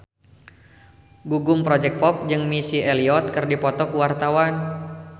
Gugum Project Pop jeung Missy Elliott keur dipoto ku wartawan